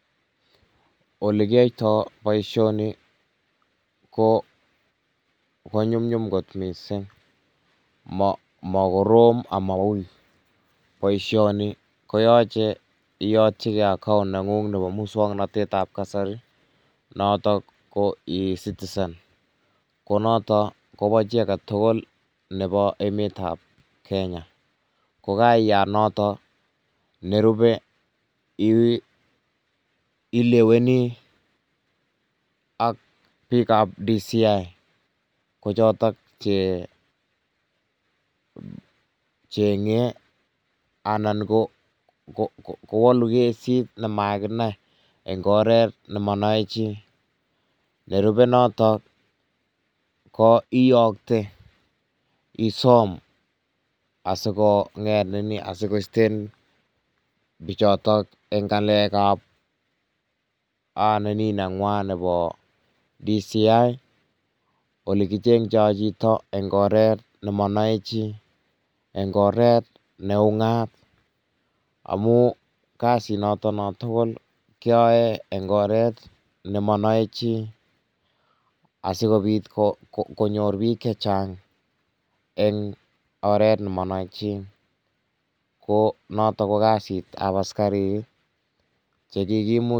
Ole kiyoito boisioni ko konyumnyum kot mising, makorom amowuy, boisioni koyache iyotchike account negung nebo muswongnotet ab kasari, natok ko e citizen, konotok Kobo jii aketugul nebo emetab Kenya ko kariyat noton, nerube Ileweni ak bikab DCI kojotok je jenge anan kowolun kesit nemakinai eng koret nemanai jii, nerube notok ko iyokte isom asikoisten bijotok eng ngalekab DCI olekijengtoi jito eng koret nemonoe jii, eng koret neungat amuu, kasi notok tuguk keyoe eng koret nemonoe jii asikobit konyor bik jechang eng oret nemonoe jii, ko notok ko kasit ab asikatik ii chekikimut.